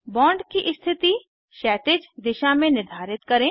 bond की स्थिति क्षैतिज दिशा में निर्धारित करें